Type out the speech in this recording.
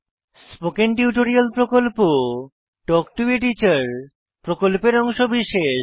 spoken tutorial প্রকল্প talk to a teacher প্রকল্পের অংশবিশেষ